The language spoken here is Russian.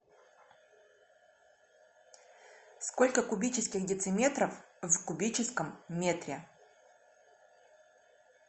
сколько кубических дециметров в кубическом метре